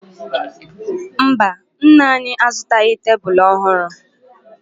Mba, nna anyị azụtaghị tebulu ọhụrụ